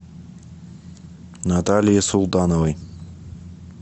наталье султановой